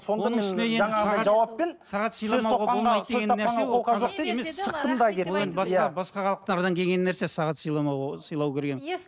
басқа халықтардан келген нәрсе сағат сыйламау сыйлау деген